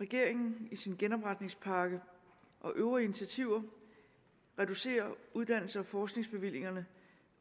regeringen i sin genopretningspakke og øvrige initiativer reducerer uddannelses og forskningsbevillingerne